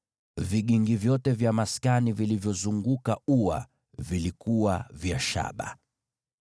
Vigingi vyote vya maskani na vya ua ulioizunguka vilikuwa vya shaba.